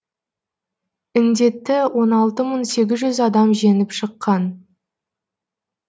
індетті он алты мың сегіз жүз адам жеңіп шыққан